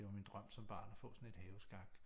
Det var min drøm som barn at få sådan et haveskak